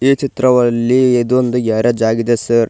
ಈ ಚಿತ್ರವಲ್ಲಿ ಇದು ಒಂದು ಗ್ಯಾರೇಜ್ ಆಗಿದೆ ಸರ್ .